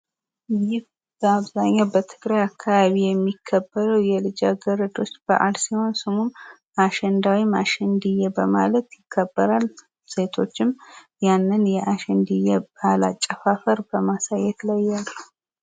ይህ በአብዛኛው በትግራይ አካባቢ የሚከበረው የልጅ አገረዶች በአል ሲሆን ስሙ አሸንዳ ወይም አሸንድየ በማለት ይከበራል። ሴቶችም ይህንን የአሸንድየ በአል ባህላዊ አጨፋፈር በማሳየት ላይ አሉ።